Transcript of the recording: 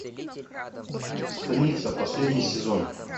станица последний сезон